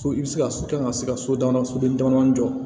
Fo i bɛ se ka so kan ka se ka so dama soden damadɔnin jɔ